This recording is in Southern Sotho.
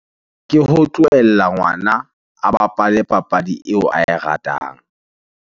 Ke ho tlohella ngwana a bapale papadi eo ae ratang.